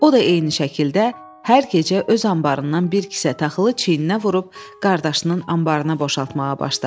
O da eyni şəkildə hər gecə öz anbarından bir kisə taxılı çiyninə vurub qardaşının anbarına boşaltmağa başladı.